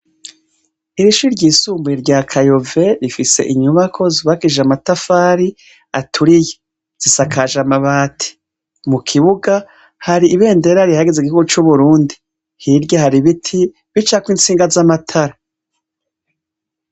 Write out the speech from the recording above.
Ishure ryisumbuye rya Kayove rifise inyubako zubakishije amatafari aturiye; zisakaje amabati. Mu kibuga hari ibendera rihayagiza igihugu c'Uburundi. Hirya hari ibiti bicako intsinga z'amatara.